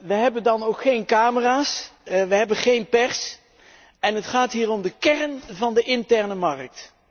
We hebben dan ook geen camera's, we hebben geen pers en het gaat hier om de kern van de interne markt.